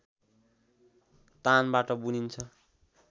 तानबाट बुनिन्छ